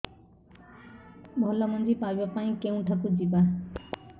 ଭଲ ମଞ୍ଜି ପାଇବା ପାଇଁ କେଉଁଠାକୁ ଯିବା